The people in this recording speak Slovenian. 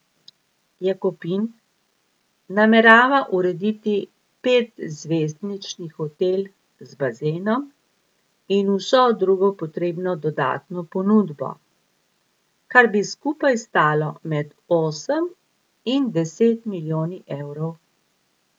Jakopin namerava urediti petzvezdični hotel z bazenom in vso drugo potrebno dodatno ponudbo, kar bi skupaj stalo med osem in deset milijoni evrov.